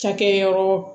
Cakɛyɔrɔ